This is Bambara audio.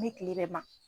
Ni kile bɛ ma